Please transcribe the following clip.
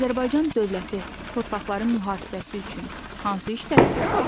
Azərbaycan dövləti torpaqların mühafizəsi üçün hansı işləri görür?